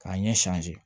K'a ɲɛ